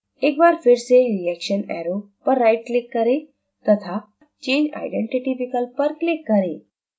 एक बार फिर से reaction arrow पर right click करें तथा change identity विकल्प पर click करें